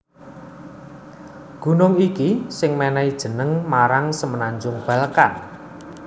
Gunung iki sing mènèhi jeneng marang Semenanjung Balkan